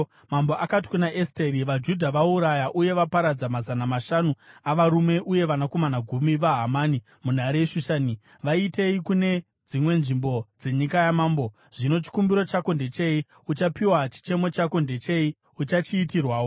Mambo akati kuna Esteri, “VaJudha vauraya uye vaparadza mazana mashanu avarume uye vanakomana gumi vaHamani munhare yeShushani. Vaitei kune dzimwe nzvimbo dzenyika yamambo? Zvino chikumbiro chako ndechei? Uchapiwa. Chichemo chako ndechei? Uchachiitirwawo.”